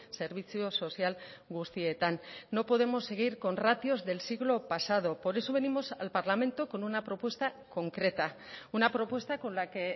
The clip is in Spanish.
zerbitzu sozial guztietan no podemos seguir con ratios del siglo pasado por eso venimos al parlamento con una propuesta concreta una propuesta con la que